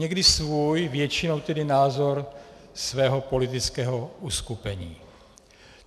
Někdy svůj, většinou tedy názor svého politického uskupení.